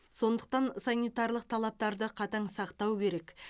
сондықтан санитарлық талаптарды қатаң сақтау керек